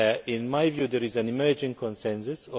In my view, there is an emerging consensus.